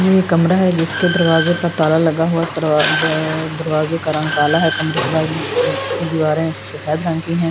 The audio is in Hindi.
ये कमरा है जिसके दरवाजे पर ताला लगा हुआ दरवाजे का रंग काला है कमरे के बाहर की दीवारें सफेद रंग की है।